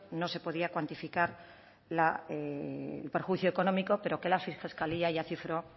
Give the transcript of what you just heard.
no se podía cuantificar el perjuicio económico pero que la fiscalía ya cifró